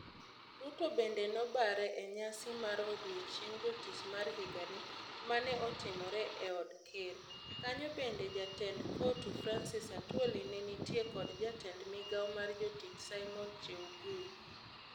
Ruto bende nobare e nyasi mar odichieng jotich ma higani, mane otimre e od ker. Kanyo bende jatend Cotu Francis Atwoli ne nitie kod jatend migao mar jotich Simon Cheugui.